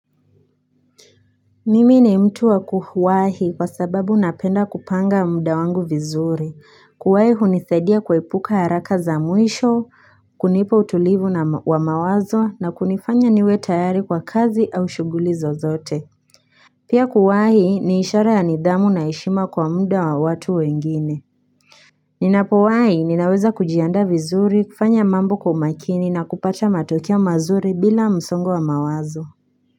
Mimi ni mtu wa kuwahi kwa sababu napenda kupanga muda wangu vizuri kuwahi hunisaidia kuepuka haraka za mwisho kunipa utulivu wa mawazo na kunifanya niwe tayari kwa kazi au shughuli zozote Pia kuwahi ni ishara ya nidhamu na heshima kwa muda wa watu wengine Ninapowahi ninaweza kujiandaa vizuri kufanya mambo kwa umakini na kupata matokeo mazuri bila msongo wa mawazo.